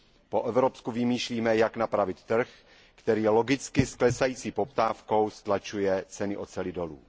Po evropsku vymýšlíme, jak napravit trh, který logicky s klesající poptávkou stlačuje ceny oceli dolů.